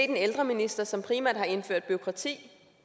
en ældreminister som primært har indført bureaukrati